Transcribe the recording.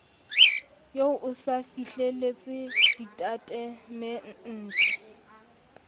eo o se fihlelletse ditatemente